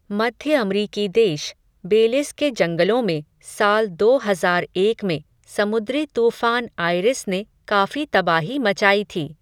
मध्य अमरीकी देश, बेलिज़ के जंगलों में, साल दो हज़ार एक में, समुद्री तूफ़ान आइरिस ने काफ़ी तबाही मचाई थी.